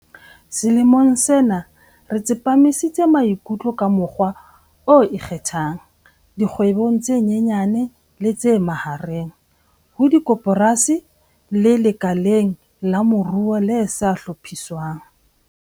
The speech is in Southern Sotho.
Selemong sena re tsepamisitse maikutlo ka mokgwa o ikgethang dikgwebong tse nyenyane le tse mahareng, di-SMME, ho dikoporasi le lekaleng la moruo le sa hlophiswang.